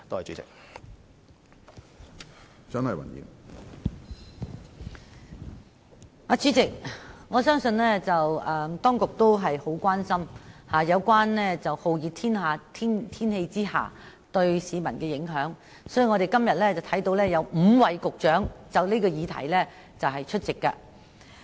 主席，我相信當局十分關注酷熱天氣對市民的影響，所以今天才會有5名局長就這項議題出席會議。